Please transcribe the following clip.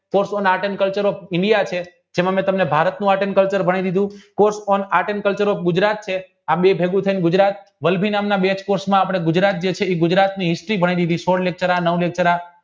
જેમાં મેં તમને ભારતનું આતં culture ભણાવી દીધું વળભીનાંમનાં બે કોર્સ માં આપણા ગુજરાત એ ગુજરાતની history ભણી લીધી સવનીતર નવમીત્રા